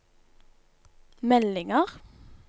meldinger